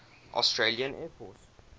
australian air force